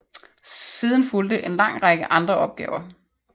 Siden fulgte en lang række andre opgaver